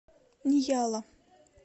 ньяла